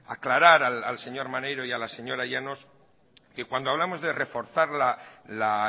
aclarar al señor maneiro y a la señora llanos que cuando hablamos de reforzar la